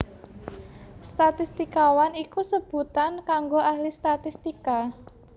Statistikawan iku sebutan kanggo ahli statistika